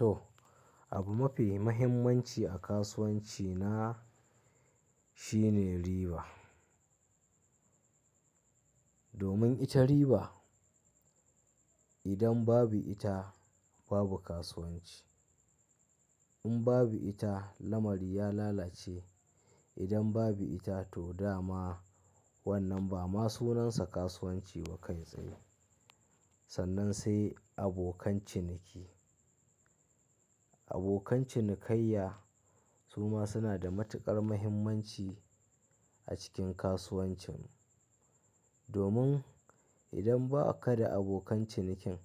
To, abu mafi mahimmanci a kasuwanci na shine riba. Domin ita riba, idan babu ita babu kasuwanci. In babu ita lamari ya lalace. Idan babu ita to dama wannan ba ma sunansa kasuwanci ba kai tsaye. Sannan sai abokan ciniki. Abokan cinikayya su ma suna da matuƙar mahimmanci a cikin kasuwancin. Domin idan ba ka da abokan cinikin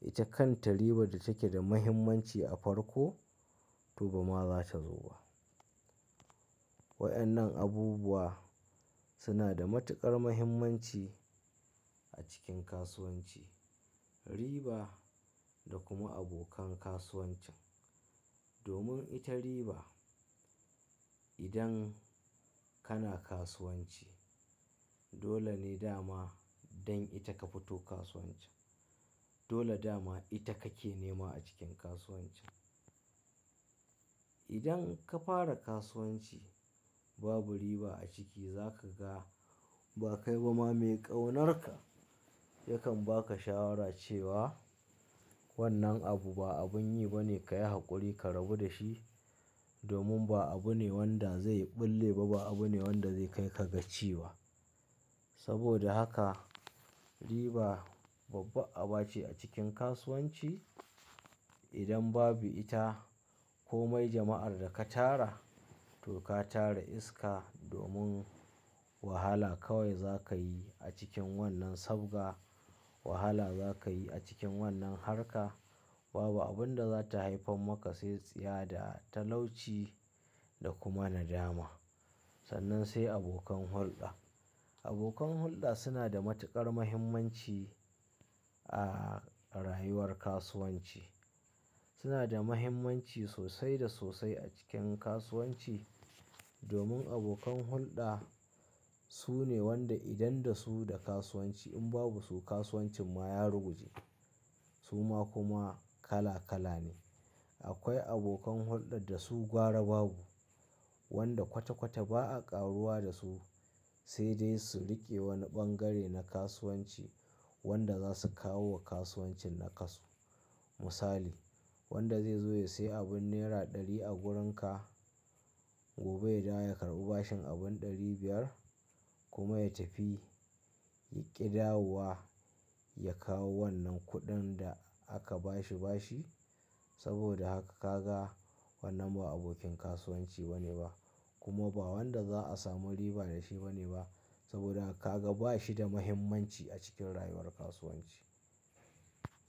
ita kan ta riba da take da mahimmanci a farko to ba ma za ta zo ba. Wadannan abubuwa suna da matuƙar mahimmanci a cikin kasuwanci, riba da kuma abokan kasuwancin. Domin ita riba idan kana kasuwanci dole ne dama dan ita ka fito kasuwancin. Dole dama ita kake nema a cikin kasuwancin. Idan ka fara kasuwanci babu riba a ciki za ka ga ba kai ba ma mai ƙaunarka yakan baka shawara cewa wannan abu ba abun yi ba ne ka yi haƙuri ka rabu da shi. Domin ba abu ne wanda zai ɓulle ba, ba abu ne wanda zai kai ka gaci ba saboda haka riba babba aba ce a cikin kasuwanci. Idan babu ita ko mai jama'ar da ka tara to ka tara iska. Domin wahala kawai za ka yi a cikin wannan sabga, wahala za ka yi a cikin wannan harka. Babu abun da za ta haifar maka sai tsiya da talauci da kuma nadama. Sannan sai abokan hulɗa. Abokan hulɗa suna da matuƙar mahimmanci a rayuwar kasuwanci. Suna da mahimmanci sosai da sosai a cikin kasuwanci. Domin abokan hulɗa su ne wanda idan da su da kasuwanci in babu su kasuwancin ma ya ruguje. Su ma kuma kala kala ne. Akwai abokan hulɗar da su gwara babu, wanda kwata-kwata ba a ƙaruwa da su sai dai su riƙe wani ɓangare na kasuwanci wanda za su kawo wa kasuwancin naƙaso Misali wanda zai zo ya sai abin naira ɗari a wurin ka gobe ya dawo ya karɓi bashin abun ɗari biyar kuma ya tafi yaƙi dawowa ya kawo wannan kuɗin da aka bashi bashi. Saboda haka ka ga wannan ba abokin kasuwanci bane ba kuma ba wanda za a samu riba da shi bane ba. Saboda haka ka ga bashi da mahimmanci a cikin rayuwar kasuwanci.